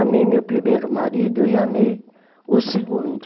Amei meu primeiro marido e amei o segundo.